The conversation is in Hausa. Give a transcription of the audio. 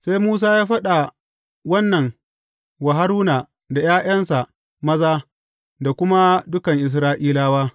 Sai Musa ya faɗa wannan wa Haruna da ’ya’yansa maza da kuma dukan Isra’ilawa.